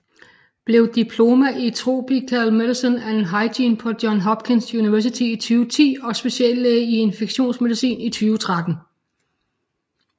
Blev Diploma in Tropical Medicine and Hygiene på Johns Hopkins University i 2010 og speciallæge i infektionsmedicin i 2013